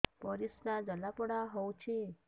ପରିସ୍ରା ଜଳାପୋଡା ହଉଛି